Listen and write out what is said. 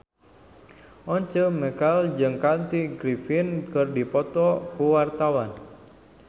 Once Mekel jeung Kathy Griffin keur dipoto ku wartawan